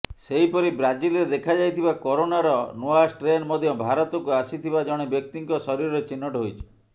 ସେହିପରି ବ୍ରାଜିଲରେ ଦେଖାଯାଇଥିବା କରୋନାର ନୂଆ ଷ୍ଟ୍ରେନ ମଧ୍ୟ ଭାରତକୁ ଆସିଥିବା ଜଣେ ବ୍ୟକ୍ତିଙ୍କ ଶରୀରରେ ଚିହ୍ନଟ ହୋଇଛି